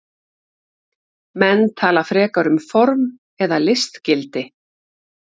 Menn tala frekar um form eða listgildi.